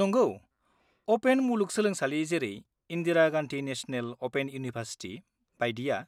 नंगौ, अपेन मुलुग सोलोंसालि जेरै Indira Gandhi national open university बाइदिया